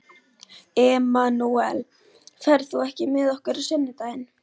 Emanúel, ferð þú með okkur á sunnudaginn?